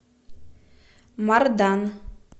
мардан